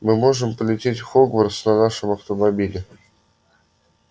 мы можем полететь в хогвартс на нашем автомобиле